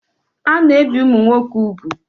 Ana-ebi ụmụ nwoke úgwù.